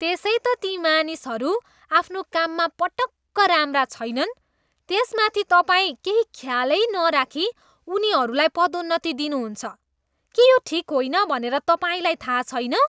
त्यसै त ती मानिसहरू आफ्नो काममा पटक्क राम्रा छैनन्। त्यसमाथि तपाईँ केही ख्यालै नराखी उनीहरूलाई पदोन्नति दिनुहुन्छ। के यो ठिक होइन भनेर तपाईँलाई थाहा छैन?